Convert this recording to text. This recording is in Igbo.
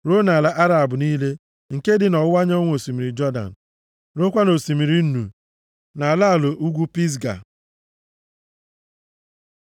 ruo nʼala Araba niile, nke dị nʼọwụwa anyanwụ osimiri Jọdan, ruokwa nʼOsimiri Nnu, nʼala ala ugwu Pisga.